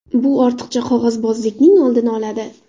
Bu ortiqcha qog‘ozbozlikning oldini oladi.